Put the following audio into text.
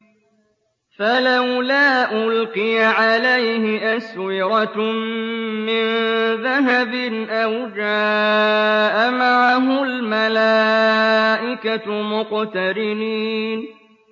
فَلَوْلَا أُلْقِيَ عَلَيْهِ أَسْوِرَةٌ مِّن ذَهَبٍ أَوْ جَاءَ مَعَهُ الْمَلَائِكَةُ مُقْتَرِنِينَ